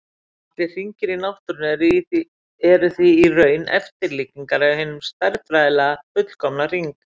Allir hringir í náttúrunni eru því í raun eftirlíkingar af hinum stærðfræðilega fullkomna hring.